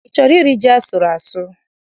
I chọrọ iri ji asụrụ asụ?